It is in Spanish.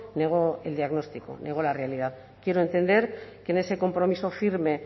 negó el diagnóstico negó la realidad quiero entender que en ese compromiso firme